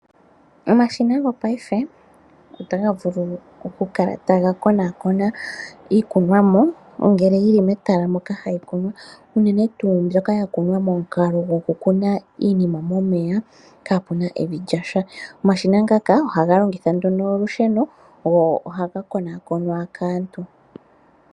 Omashina gopayife ota ga vulu oku kala taga konakona iikunomwa ngele yili metala moka hayikunwa unene tuu ndjoka yakunwa mo mukalo gokukuna iinima momeya kaapuna evi lyasha, omashina ngakaa ohaga longitha nduno olusheno nohaga konakonwa kaantu.